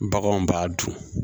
Baganw b'a dun